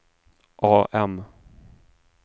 AM